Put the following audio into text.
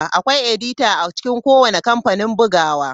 Akwai edita a cikin kowane kamfanin bugawa.